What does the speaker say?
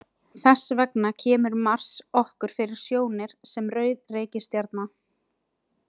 Þess vegna kemur Mars okkur fyrir sjónir sem rauð reikistjarna.